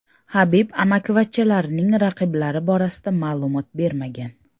Habib amakivachchalarining raqiblari borasida ma’lumot bermagan.